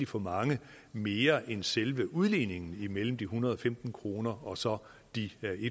for mange mere end selve udligningen mellem de en hundrede og femten kroner og så de en